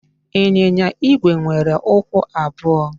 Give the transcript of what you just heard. Ịnyịnya Igwe nwere ụkwụ abụọ